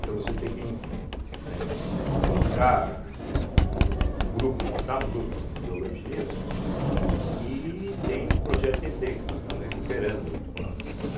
Então você tem que, né, colocar eh o grupo, montar um grupo de Ictiologia, né e tem o projeto Tietê que nós estamos recuperando.